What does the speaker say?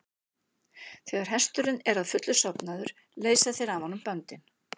Þegar hesturinn er að fullu sofnaður leysa þeir af honum böndin.